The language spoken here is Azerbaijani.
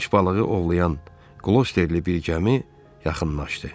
Qılınc balığı ovlayan qlosterli bir gəmi yaxınlaşdı.